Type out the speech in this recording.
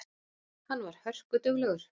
Hann var hörkuduglegur.